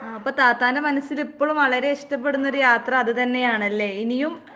ആഹ് അപ്പ താത്താന്റെ മനസ്സിലിപ്പഴും വളരെ ഇഷ്ടപ്പെടുന്നൊരു യാത്ര അതുതന്നെയാണല്ലേ. ഇനിയും